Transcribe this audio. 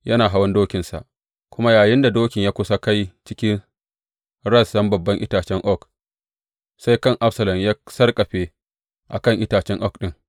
Yana hawan dokinsa, kuma yayinda dokin ya kusa kai cikin rassan babban itacen oak, sai kan Absalom ya sarƙafe a kan itacen oak ɗin.